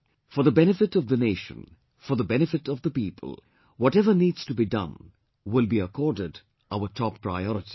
For the benefit of the Nation, for the benefit of the people, whatever needs to be done will be accorded our top priority